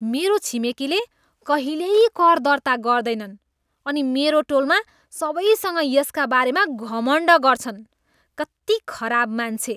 मेरो छिमेकीले कहिल्यै कर दर्ता गर्दैनन् अनि मेरो टोलमा सबैसँग यसका बारेमा घमण्ड गर्छन्। कति खराब मान्छे!